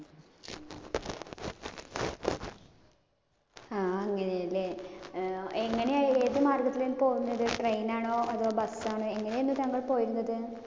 ആഹ് അങ്ങിനെയാലെ. ഏർ എങ്ങിനെയാ ഏത് മാർഗത്തില പോകുന്നത്? Train ആണോ അതോ bus ആണോ? ഇങ്ങിനെയായിരുന്നു താങ്കൾ പോയിരുന്നത്?